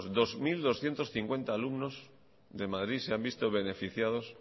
dos mil doscientos cincuenta alumnos de madrid se ha visto beneficiados